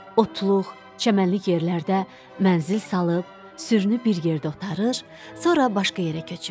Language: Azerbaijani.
Otluq, çəmənlik yerlərdə mənzil salıb, sürünü bir yerdə otarır, sonra başqa yerə köçürdü.